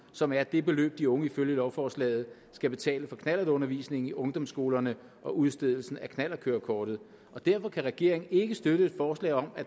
som er det beløb de unge ifølge lovforslaget skal betale for knallertundervisningen i ungdomsskolerne og udstedelsen af knallertkørekortet derfor kan regeringen ikke støtte et forslag om at